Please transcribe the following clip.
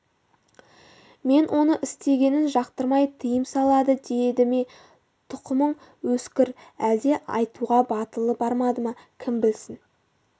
мен оның істегенін жақтырмай тыйым салады деді ме тұқымың өскір әлде айтуға батылы бармады ма кім білісін